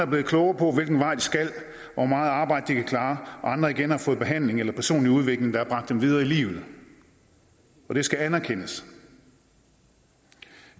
blevet klogere på hvilken vej de skal og hvor meget arbejde de kan klare og andre igen har fået behandling eller personlig udvikling der har bragt dem videre i livet det skal anerkendes